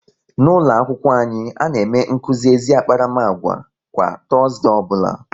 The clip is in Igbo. N'ụlọakwụkwọ anyị, a na-eme nkuzi ezi akparamagwa kwa Tọọzde ọbụla